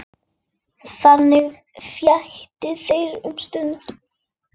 Þannig létu þeir um stund.